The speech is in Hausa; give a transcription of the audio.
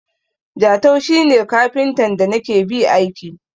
Jatau shi ne kafintan da na ke ba aiki.